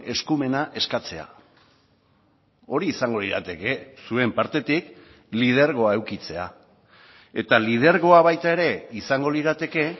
eskumena eskatzea hori izango lirateke zuen partetik lidergoa edukitzea eta lidergoa baita ere izango lirateke